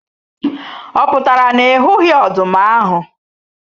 Ọ pụtara na ị hụghị ọdụm ahu